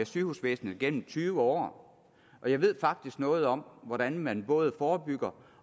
sygehusvæsenet igennem tyve år jeg ved faktisk noget om hvordan man både forebygger